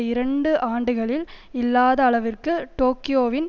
இரண்டு ஆண்டுகளில் இல்லாத அளவிற்கு டோக்கியோவின்